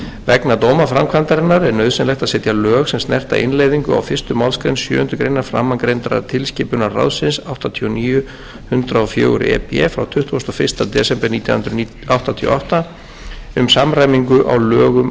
vegna dómaframkvæmdarinnar er nauðsynlegt að setja lög sem snerta innleiðingu á fyrstu málsgrein sjöundu greinar framangreindrar tilskipunar ráðsins áttatíu og níu hundrað og fjögur e b frá tuttugasta og fyrsta desember nítján hundruð áttatíu og átta um samræmingu á lögum